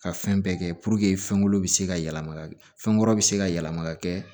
Ka fɛn bɛɛ kɛ puruke fɛn kolo bɛ se ka yɛlɛma ka kɛ fɛn wɛrɛw bɛ se ka yɛlɛma ka kɛ